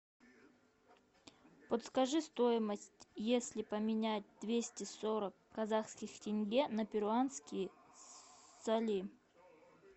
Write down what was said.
подскажи стоимость если поменять двести сорок казахских тенге на перуанские соли